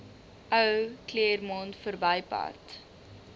ou claremont verbypad